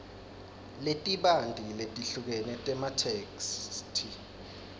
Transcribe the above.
letibanti letehlukene tematheksthi